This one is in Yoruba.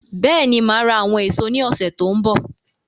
Bẹ́ẹ̀ni, máa ra àwọn èso ní ọsẹ tó n bọ